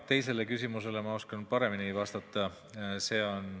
Teisele küsimusele oskan ma paremini vastata.